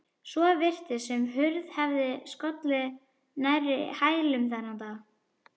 Svo virtist sem hurð hefði skollið nærri hælum þennan dag.